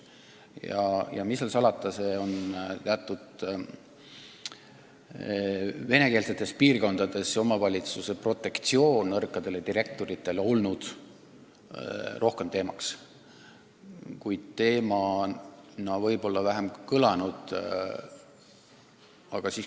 Aga mis seal salata, nõrkadele direktoritele osaks saav omavalitsuse protektsioon on teatud venekeelsetes piirkondades rohkem teemaks olnud.